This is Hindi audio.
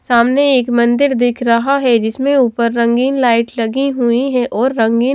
सामने एक मंदिर दिख रहा है जिसमें ऊपर रंगीन लाइट लगी हुई है और रंगीन--